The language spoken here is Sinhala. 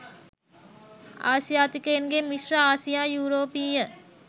ආසියාතිකයන්ගේ මිශ්‍ර ආසියා යුරෝපීය